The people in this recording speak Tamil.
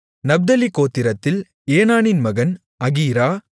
நப்தலி கோத்திரத்தில் ஏனானின் மகன் அகீரா